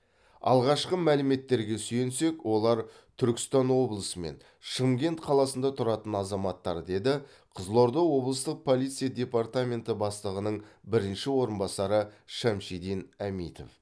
алғашқы мәліметтерге сүйенсек олар түркістан облысы мен шымкент қаласында тұратын азаматтар деді қызылорда облыстық полиция департаменті бастығының бірінші орынбасары шамшидин әмитов